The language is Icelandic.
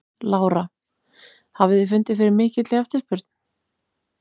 Lára: Hafið þið fundið fyrir mikilli eftirspurn?